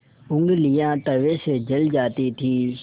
ऊँगलियाँ तवे से जल जाती थीं